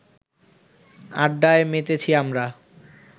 আড্ডায় মেতেছি আমরা